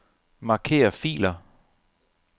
Marker filer.